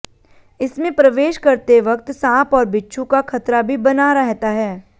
इसमें प्रवेश करते वक्त सांप और बिच्छू का खतरा भी बना रहता है